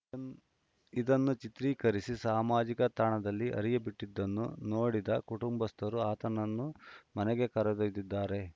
ಇದನ್ನು ಚಿತ್ರೀಕರಿಸಿ ಸಾಮಾಜಿಕ ತಾಣದಲ್ಲಿ ಹರಿಯ ಬಿಟ್ಟಿದ್ದನ್ನು ನೋಡಿದ ಕುಟುಂಬಸ್ಥರು ಆತನನ್ನು ಮನೆಗೆ ಕರೆದೊಯ್ದಿದ್ದಾರೆ